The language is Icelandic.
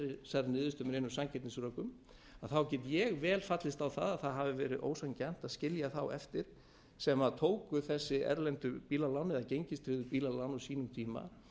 niðurstöðu með neinum sanngirnisrökum get ég vel fallist á það að það hafi verið ósanngjarnt að skilja þá eftir sem tóku þessi erlendu bílalán eða gengistryggðu bílalán á sínum tíma